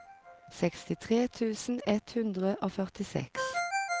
sekstitre tusen ett hundre og førtiseks